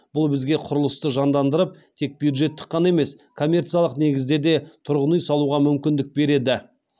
бұл бізге құрылысты жандандырып тек бюджеттік қана емес коммерциялық негізде де тұрғын үй салуға мүмкіндік берді